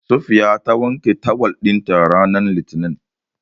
Safiya ta wanke tawul ɗinta ranar Litinin.